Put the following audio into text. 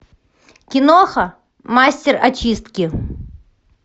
киноха мастер очистки